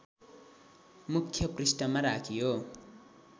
मुख्य पृष्ठमा राखियो